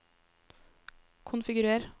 konfigurer